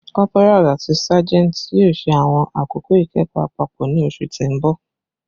Corporals ati sergeants yoo ṣe awọn akoko ikẹkọ apapọ ni oṣu ti n bọ